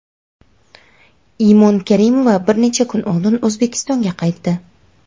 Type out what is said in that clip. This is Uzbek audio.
Imon Karimova bir necha kun oldin O‘zbekistonga qaytdi.